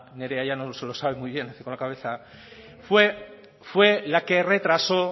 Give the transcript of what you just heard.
nerea llanos lo sabe muy bien con la cabeza fue la que retrasó